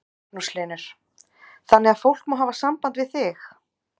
Magnús Hlynur: Þannig að fólk má hafa samband við þig?